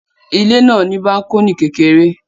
Ilé náà ní bákọ́nì kékeré